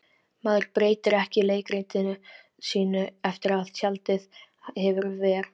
Maður breytir ekki leikritinu sínu eftir að tjaldið hefur ver